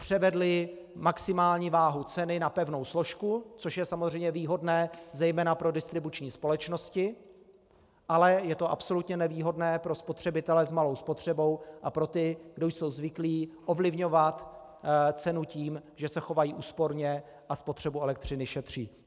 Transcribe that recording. Převedli maximální váhu ceny na pevnou složku, což je samozřejmě výhodné zejména pro distribuční společnosti, ale je to absolutně nevýhodné pro spotřebitele s malou spotřebou a pro ty, kdo jsou zvyklí ovlivňovat cenu tím, že se chovají úsporně a spotřebu elektřiny šetří.